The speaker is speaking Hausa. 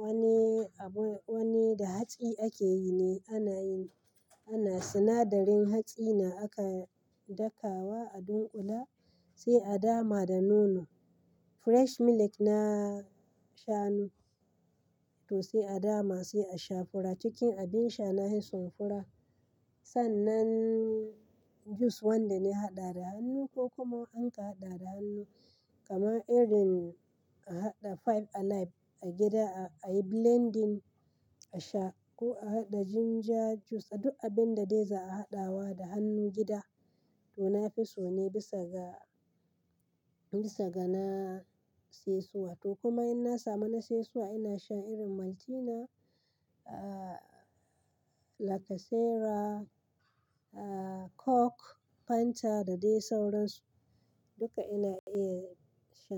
Wani abu, wani da hatsi ake yi ne. Ana yi, ana sinadarin hatsi na aka dakawa a dunkula sai a dama da nono. Fresh milk na sha nu. To sai a dama, sai a sha fura. Cikin abin sha, na fi son fura. Sannan juice wanda na haɗa da hannu ko kuma an ka haɗa da hannu. Kaman irin a haɗa five alive a gida, a yi blending a sha ko a haɗa ginger juice. Da duk abin da dai za a haɗawa da hannu gida to na fi so ne bisa ga, bisa ga na saisuwa. To kuma in na samu na saisuwa, ina shan irin Maltina, ah, Lacasera, ah, Coke, Fanta da dai sauransu. Duka ina iya sha.